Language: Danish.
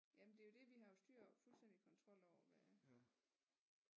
Ja men det er jo det vi har jo styr fuldstændig kontrol over hvad